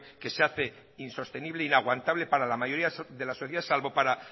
que se hace insostenible inaguantable para la mayoría de la sociedad salvo para